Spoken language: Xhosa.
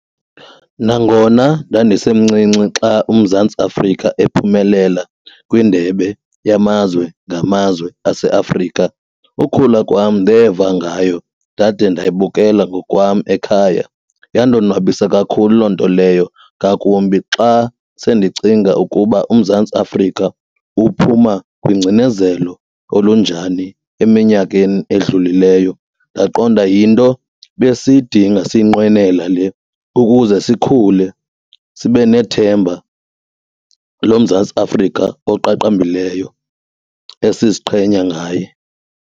Nangona ndandisemncinci xa uMzantsi Afrika ephumelela kwindebe yamazwe ngamazwe aseAfrika ukhula kwam ndeva ngayo ndade ndayibukela ngokwam ekhaya. Yandonwabisa kakhulu loo nto leyo ngakumbi xa sendicinga ukuba uMzantsi Afrika uphuma kwingcinezelo olunjani eminyakeni edlulileyo ndaqonda yinto besiyidinga siyinqwenela le ukuze sikhule sibe nethemba loMzantsi Afrika oqaqambileyo esiziqhenya ngaye.